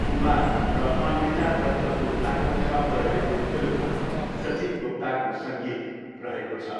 कुमार र अन्विता दत्त गुप्ताको शब्द रहेको फिल्ममा सचिन गुप्ताको सङ्गीत रहेको छ।